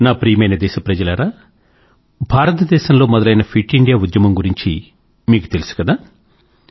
నా ప్రియమైన దేశప్రజలారా భారతదేశం లో మొదలైన ఫిట్ ఇండియా ఉద్యమం గురించి మీకు తెలుసు కదా